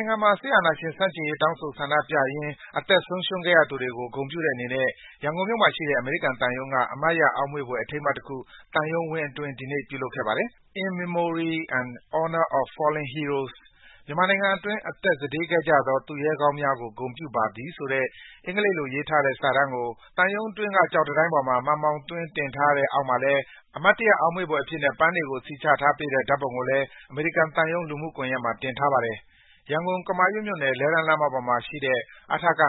ိုင်ငံမှာ စစ်အာဏာရှင်ဆန့်ကျင်ရေး တောင်းဆိုဆန္ဒပြရင်း အသက်ဆုံးရှုံးခဲ့ရသူတွေကို ဂုဏ်ပြုတဲ့အနေနဲ့ ရန်ကုန်မြို့မှာရှိတဲ့ အမေရိကန်သံရုံးက အမှတ်ရအောက်မေ့ဘွယ် အထိမ်းအမှတ်တခု သံရုံးဝင်းအတွင်း ဒီကနေ့ ပြုလုပ်ခဲ့ပါတယ်။ “In Memory and Honor of Fallen Heroes” "မြန်မာနိုင်ငံတွင်း အသက်စတေးခဲ့ကြသော သူရဲကောင်းများကို ဂုဏ်ပြုပါသည်" ဆိုတဲ့ အင်္ဂလိပ်လိုရေးထားတဲ့ စာတန်းကို သံရုံးအတွင်းက ကျောက်နံရံပေါ်မှာ မှန်ဘောင်သွင်း တင်ထားပြီး အောက်မှာလည်း အမှတ်တရ အောက်မေ့ဘွယ်အဖြစ်နဲ့ ပန်းတွေကို စီချထားပေးတဲ့ ဓါတ်ပုံကို အမေရိကန်သံရုံး လူမှုကွန်ယက်မှာ တင်ထားပါတယ်။ ရန်ကုန်၊ ကမာရွတ်မြို့နယ်၊ လှည်းတန်းလမ်းမပေါ်မှာရှိတဲ့ အထက (၅)